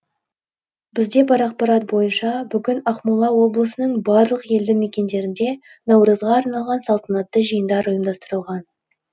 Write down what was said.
бізде бар ақпарат бойынша бүгін ақмола облысының барлық елді мекендерінде наурызға арналған салтанатты жиындар ұйымдастырылған